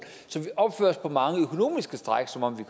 så vi opfører os på mange økonomiske stræk som om vi